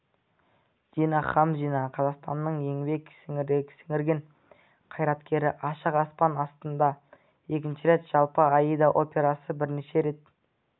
дина хамзина қазақстанның еңбек сіңірген қайраткері ашық аспан астында екінші рет жалпы аида операсы бірнеше рет